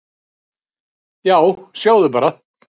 """Já, sjáðu bara!"""